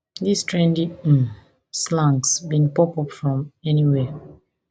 dis trendy um slangs bin pop up from anywhere